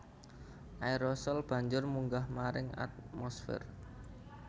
Aérosol banjur munggah maring atmosfér